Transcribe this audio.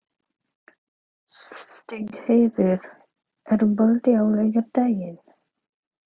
Stígheiður, er bolti á laugardaginn?